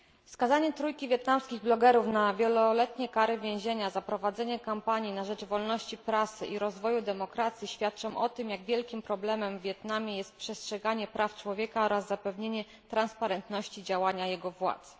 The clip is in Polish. Skazanie trójki wietnamskich blogerów na wieloletnie kary więzienia za prowadzenie kampanii na rzecz wolności prasy i rozwoju demokracji świadczą o tym, jak wielkim problemem w Wietnamie jest przestrzeganie praw człowieka oraz zapewnienie transparentności działania jego władz.